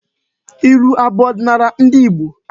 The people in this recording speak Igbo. Ilu abụ ọdịnala ndị Igbo?